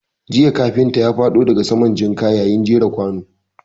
Jiya kafinta ya faɗo daga saman jinka yayin jera kwanu.